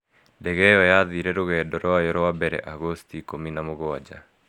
Ndege ĩyo yathiire rũgendo rwayo rwa mbere Agosti 17.